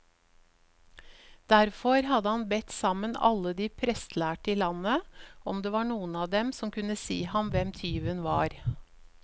Derfor hadde han bedt sammen alle de prestlærde i landet, om det var noen av dem som kunne si ham hvem tyven var.